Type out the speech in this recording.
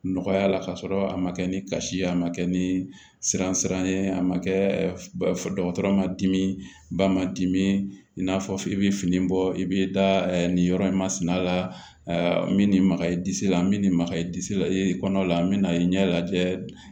Nɔgɔya la ka sɔrɔ a ma kɛ ni kasi ye a ma kɛ ni siransiranye a ma kɛ dɔgɔtɔrɔ ma dimi ba ma dimi i n'a fɔ i bi fini bɔ i bi da nin yɔrɔ in masina la min ni magayi disi la n bɛ nin maka yi disi la kɔnɔna la an bɛna ɲɛ lajɛ